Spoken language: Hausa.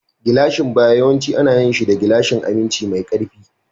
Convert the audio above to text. Gilashin baya yawanci ana yin shi da gilashin aminci mai ƙarfi.